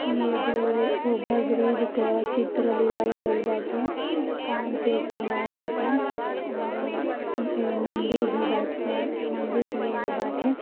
ई एगो over bridge क चित्र लिहल गइल बाटे। शाम के समय बाटे और ए मंदिर भी बा ए मंदिर भी एगो बाटे।